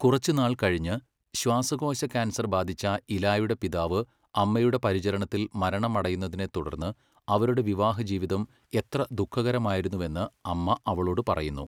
കുറച്ചുനാൾ കഴിഞ്ഞ്, ശ്വാസകോശ കാൻസർ ബാധിച്ച ഇലായുടെ പിതാവ് അമ്മയുടെ പരിചരണത്തിൽ മരണമടയുന്നതിനെത്തുടർന്ന് അവരുടെ വിവാഹ ജീവിതം എത്ര ദുഃഖകരമായിരുന്നുവെന്ന് അമ്മ അവളോട് പറയുന്നു.